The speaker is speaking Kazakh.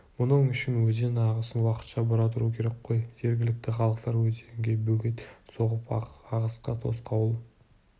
мұның үшін өзен ағысын уақытша бұра тұру керек қой жергілікті халықтар өзенге бөгет соғып ағысқа тосқауыл